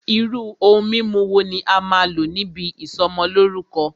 Irú ohun mímu wo ní a máà n lò níbi ìsọmọlórúkọ́?